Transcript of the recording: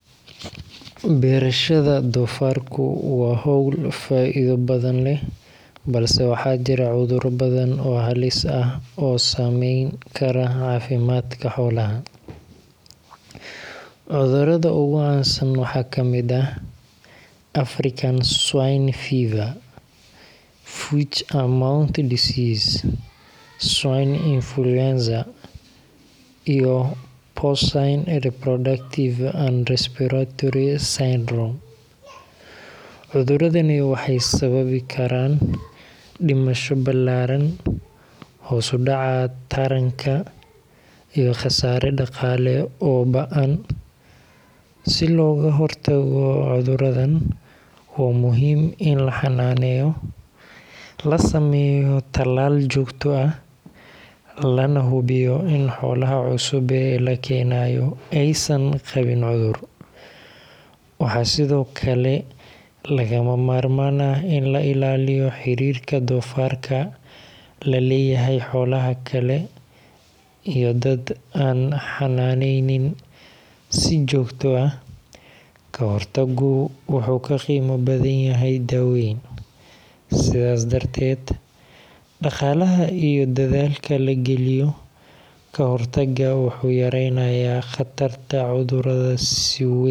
Beerashada doofaarku waa hawl faa’iido badan leh, balse waxaa jira cudurro badan oo halis ah oo saameyn kara caafimaadka xoolaha. Cudurrada ugu caansan waxaa ka mid ah African Swine Fever, Foot and Mouth Disease, Swine Influenza, iyo Porcine Reproductive and Respiratory Syndrome (PRRS). Cuduradani waxay sababi karaan dhimasho ballaaran, hoos u dhaca taranka, iyo khasaare dhaqaale oo ba’an. Si looga hortago cudurradan, waa muhiim in la ilaaliyo nadaafadda deegaanka doofaarka lagu xanaaneeyo, la sameeyo tallaal joogto ah, lana hubiyo in xoolaha cusub ee la keenayo aysan qabin cudur. Waxaa sidoo kale lagama maarmaan ah in la ilaaliyo xiriirka doofaarka la leeyahay xoolaha kale iyo dad aan xannaaneynin si joogto ah. Ka hortaggu wuxuu ka qiimo badan yahay daaweyn, sidaas darteed dhaqaalaha iyo dadaalka la geliyo ka hortagga wuxuu yareynayaa khatarta cudurrada si wey.